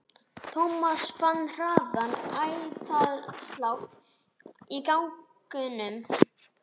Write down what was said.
Thomas fann hraðan æðaslátt í gagnaugunum.